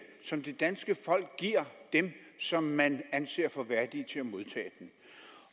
som det danske folk giver dem som man anser for værdige til at modtage den